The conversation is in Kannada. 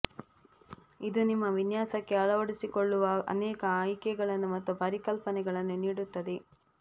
ಇದು ನಿಮ್ಮ ವಿನ್ಯಾಸಕ್ಕೆ ಅಳವಡಿಸಿಕೊಳ್ಳುವ ಅನೇಕ ಆಯ್ಕೆಗಳನ್ನು ಮತ್ತು ಪರಿಕಲ್ಪನೆಗಳನ್ನು ನೀಡುತ್ತದೆ